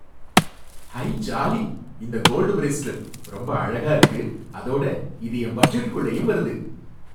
ஐ jolly! இந்த gold bracelet ரொம்ப அழகா இருக்கு, அதோட இது என் பட்ஜெட்டுக்குள்ளயும் வருது.